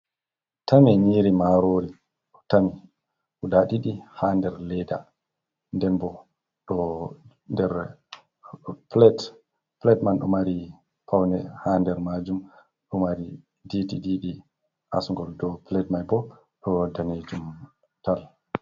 Tame nyiri marori ɗo tami guda ɗiɗi ha nder leda, denbo ɗo nder plate, plate man ɗo mari paune ha nder majum ɗo mari didi asgol, do plate mai bo ɗon danejum tal.